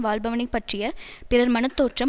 வாழ்பவனை பற்றிய பிறர் மன தோற்றம்